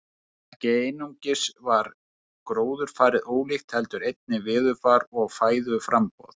Ekki einungis var gróðurfarið ólíkt heldur einnig veðurfar og fæðuframboð.